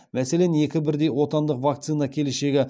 мәселен екі бірдей отандық вакцина келешегі